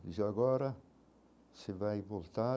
Dizia, agora você vai voltar.